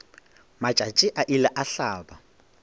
matšatši a ile a hlaba